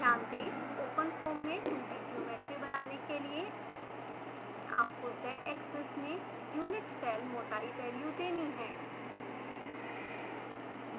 ध्यान दें ओपनफोम में 2d ज्योमेट्री बनाने के लिए आपको zएक्सिस में यूनिट सेल मोटाई वैल्यू देनी है